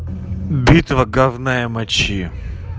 битва говна и мочи